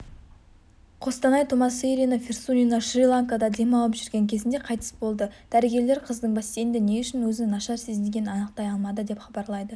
қостанай тумасыирина фирсунина шри-ланкада демалып жүрген кезінде қайтыс болды дәрігерлер қыздың бассейнде не үшін өзін нашар сезінгенін анықтай алмады деп хабарлайды